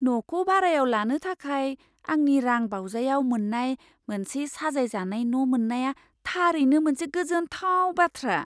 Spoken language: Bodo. न'खौ भारायाव लानो थाखाय आंनि रां बावजायाव मोन्नाय मोनसे साजायजानाय न' मोन्नाया थारैनो मोनसे गोजोनथाव बाथ्रा!